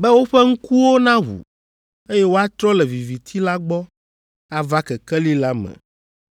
be woƒe ŋkuwo naʋu, eye woatrɔ le viviti la gbɔ ava kekeli la me.